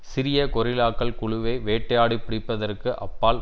சிறிய கொரில்லாக்கள் குழுவை வேட்டையாடி பிடிப்பதற்கு அப்பால்